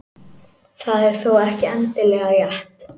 Það er þó ekki endilega rétt.